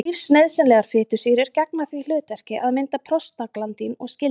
Lífsnauðsynlegar fitusýrur gegna því hlutverki að mynda prostaglandín og skyld efni.